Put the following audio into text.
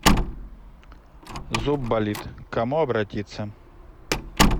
зуб болит к кому обратиться